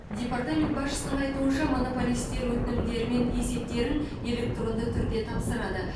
департамент басшысының айтуынша монополистер өтінімдері мен есептерін электронды түрде тапсырады